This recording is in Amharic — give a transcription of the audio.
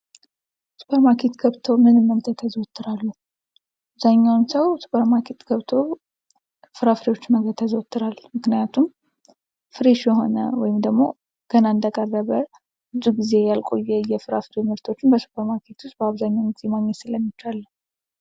ሱፐርማርኬት ገብቶ ምን መግዛት ያዘወትራሉ አብዝሃኛውን ሰው ሱፐርማርኬት ገብቶ ፍራፍሬዎችን መግዛት ያዘወትራሉ ፤ምክንያቱም ፍሬሽ የሆነ ወይም ደግሞ ገና እንደቀረበ ብዙ ጊዜ አልቆ የፍራፍሬ ምርቶችን በሱፐር ማርኬቶች በአብዛኛው ጊዜ ማግኘት ስለሚቻል ነው።